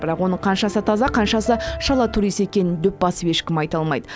бірақ оның қаншасы таза қаншасы шала турист екенін дөп басып ешкім айта алмайды